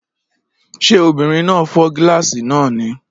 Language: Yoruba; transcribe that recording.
Ṣé obìnrin náà fọ́ gíláàsì náà ni?